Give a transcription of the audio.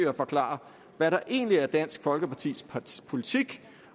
at forklare hvad der egentlig er dansk folkepartis politik